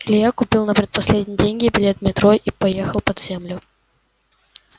илья купил на предпоследние деньги билет в метро и поехал под землю